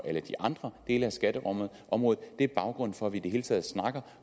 alle de andre dele af skatteområdet det er baggrunden for at vi i det hele taget snakker